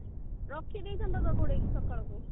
ରଖି ଦେଇଥାନ୍ତ ତାକୁ ଘୋଡେଇକି ସକାଳକୁ